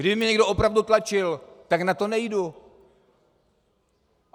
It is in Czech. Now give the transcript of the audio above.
Kdyby mě někdo opravdu tlačil, tak na to nejdu.